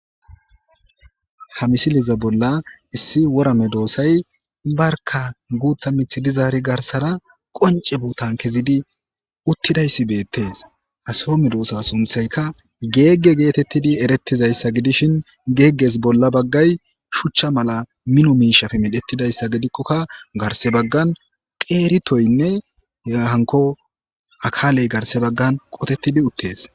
Hamisiliza bolla issi worame doosay barka guutha mithi dizaari garsara qonce buutan kezidi uttidayssi beettees asome doosa sunthayka geegge geetettidi erettizayssa gidishin geegges bolla baggay shuchcha mala mino miishaf medhettidayssa gidikkokka garse baggan qeeritoynne hehanko akaaley garse baggan qotettidi uttees.